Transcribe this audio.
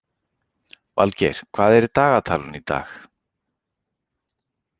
Valgeir, hvað er í dagatalinu í dag?